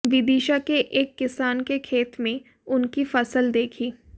विदिशा के एक किसान के खेत में उनकी फसल देखी